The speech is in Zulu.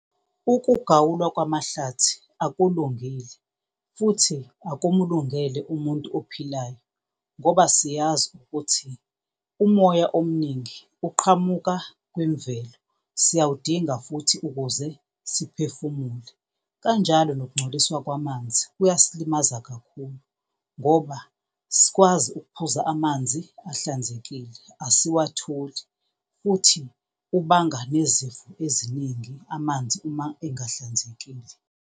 Ukugawulwa kwamahlathi akulungile futhi akumlungele umuntu ophilayo ngoba siyazi ukuthi umoya omningi uqhamuka kwimvelo, siyawudinga futhi ukuze siphefumule. Kanjalo nokungcoliswa kwamanzi kuyasilimaza kakhulu ngoba asikwazi ukuphuza amanzi ahlanzekile, asiwatholi futhi kubanga nezifo eziningi amanzi uma engahlanzekile.